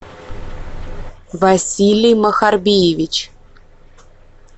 василий махарбиевич